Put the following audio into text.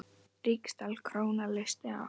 Ríksdal króna leysti af.